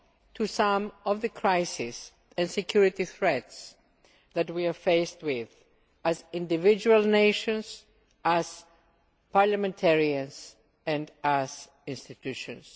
to some of the crises and security threats we are faced with as individual nations, as parliamentarians and as institutions.